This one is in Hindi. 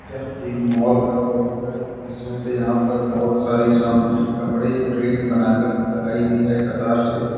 यह एक माल का फोटो है इसमें से यहां पर बहुत सारी साम कपड़े रेक बनाकर लगाई गई है कतार से।